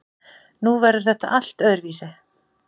Nú verður þetta allt öðruvísi.